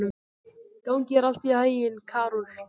Gangi þér allt í haginn, Karol.